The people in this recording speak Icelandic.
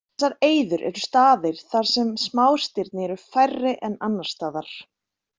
Þessar eyður eru staðir þar sem smástirni eru færri en annars staðar.